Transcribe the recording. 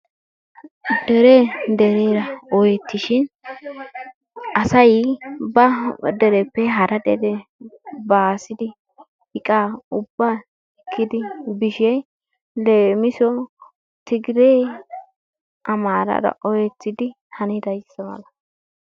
Deree dereera oyettishin asay ba dereppe hara dere baasidi iqaa ubba ekkidi bishin leemiso tigiree amaaraara oyettidi hanidayizza mala.